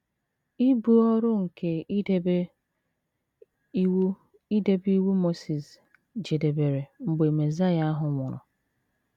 Ibu ọrụ nke idebe Iwu idebe Iwu Mosis jedebere mgbe Mesaịa ahụ nwụrụ.